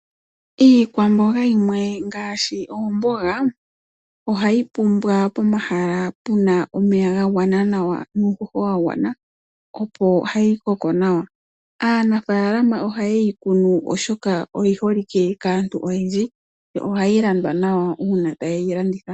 Iikwamboga yimwe ngaashi oomboga ohayi pumbwa pomahala pena omeya ga gwana nawa nuushosho opo hayi koko nawa. Aanafalama ohaye yi kunu oshoka oyiholike kaantu oyendji yo ohayi landwa nawa uuna tayi landithwa.